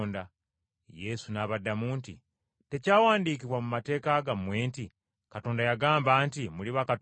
Yesu n’abaddamu nti, “Tekyawandiikibwa mu mateeka gammwe nti, Katonda yagamba nti, ‘Muli bakatonda’?